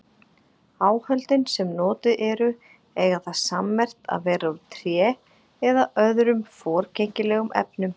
Áhöldin sem notuð eru eiga það sammerkt að vera úr tré eða öðrum forgengilegum efnum.